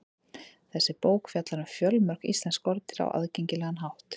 Þessi bók fjallar um fjölmörg íslensk skordýr á aðgengilegan hátt.